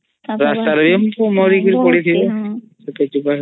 ଅମ୍